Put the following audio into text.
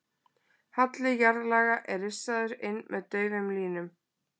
Halli jarðlaga er rissaður inn með daufum línum.